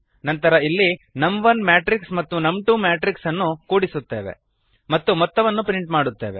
ನಂತರ ಇಲ್ಲಿ ನಮ್1 ಮ್ಯಾಟ್ರಿಕ್ಸ್ ಮತ್ತು ನಮ್2 ಮ್ಯಾಟ್ರಿಕ್ಸ್ ಅನ್ನು ಕೂಡಿಸುತ್ತೇವೆ ಮತ್ತು ಮೊತ್ತವನ್ನು ಪ್ರಿಂಟ್ ಮಾಡುತ್ತೇವೆ